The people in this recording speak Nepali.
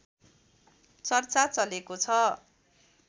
चर्चा चलेको छ